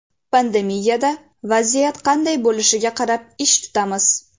Pandemiyada vaziyat qanday bo‘lishiga qarab ish tutamiz.